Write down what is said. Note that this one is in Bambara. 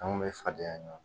An kun bɛ fadenya ɲɔgɔn na